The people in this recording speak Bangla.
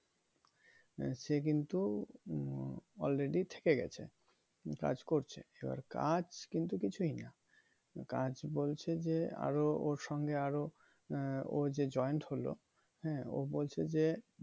সে কিন্তু উম already থেকে গেছে কাজ করছে এবার কাজ কিন্তু কিছুই না কাজ বলছে যে আরো ওর সঙ্গে আরো আহ ও যে joined হলো হ্যাঁ ও বলছে যে